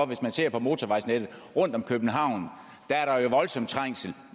hvis man ser på motorvejsnettet rundt om københavn der er der jo voldsomt trængsel